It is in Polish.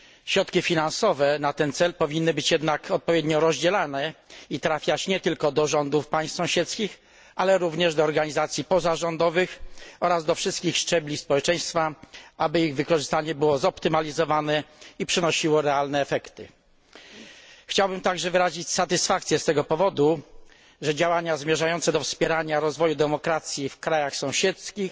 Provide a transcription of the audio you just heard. Środki finansowe na ten cel powinny być jednak odpowiednio rozdzielane i trafiać nie tylko do rządów państw sąsiedzkich, ale również do organizacji pozarządowych oraz do wszystkich szczebli społeczeństwa, aby ich wykorzystanie było zoptymalizowane i przynosiło realne efekty. Chciałbym także wyrazić satysfakcję z tego powodu, że działania zmierzające do wspierania rozwoju demokracji w krajach sąsiedzkich